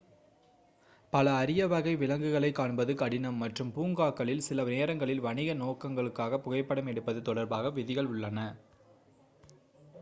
பல அரிய வகை விலங்குகளைக் காண்பது கடினம் மற்றும் பூங்காக்களில் சில நேரங்களில் வணிக நோக்கங்களுக்காக புகைப்படம் எடுப்பது தொடர்பாக விதிகள் உள்ளன